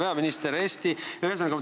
Hea peaminister!